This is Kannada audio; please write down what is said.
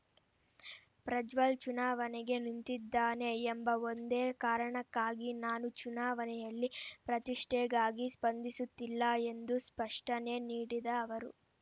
ಪ್ರಜ್ವಲ್ ಚುನಾವಣೆಗೆ ನಿಂತಿದ್ದಾನೆ ಎಂಬ ಒಂದೇ ಕಾರಣಕ್ಕಾಗಿ ನಾನು ಚುನಾವಣೆಯಲ್ಲಿ ಪ್ರತಿಷ್ಠೆಗಾಗಿ ಸ್ಪರ್ಧಿಸುತ್ತಿಲ್ಲ ಎಂದು ಸ್ಪಷ್ಟನೆ ನೀಡಿದ ಅವರು